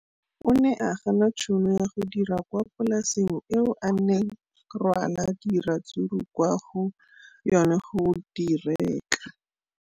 O ne a gana tšhono ya go dira kwa polaseng eo a neng rwala diratsuru kwa go yona go di rekisa.